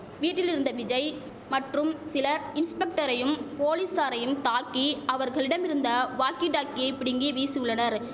வீட்டிலிருந்த விஜய் மற்றும் சிலர் இன்ஸ்பெக்டரையும் போலீசாரையும் தாக்கி அவர்களிடமிருந்த வாக்கி டாக்கியை பிடுங்கி வீசு உள்ளனர்